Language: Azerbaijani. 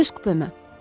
Öz kupemə.